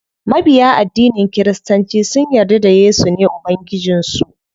Mabiya addinin kiristanci sun yarda da yesu ne ubangijin su.